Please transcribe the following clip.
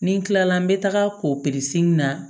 Ni n kilala n bɛ taga in na